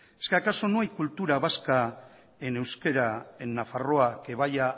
es que acaso no hay cultura vasca en euskera en nafarroa que vaya